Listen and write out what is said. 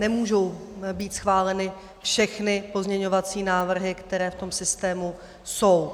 Nemůžou být schváleny všechny pozměňovací návrhy, které v tom systému jsou.